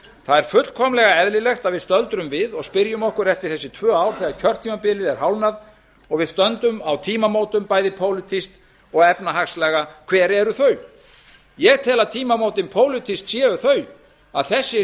það er fullkomlega eðlilegt að við stöldrum við og spyrjum okkur eftir þessi tvö ár þegar kjörtímabilið er hálfnað og við stöndum á tímamótum bæði pólitískt og efnahagslega hver eru þau ég tel að tímamótin pólitískt séu þau að þessi